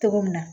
Cogo min na